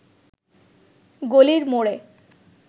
গলির মোড়ে